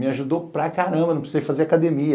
Me ajudou para caramba, não precisei fazer academia.